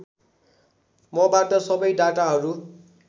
मबाट सबै डाटाहरू